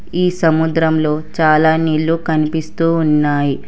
ఈ సముద్రంలో చాలా నీళ్లు కనిపిస్తూ ఉన్నాయి.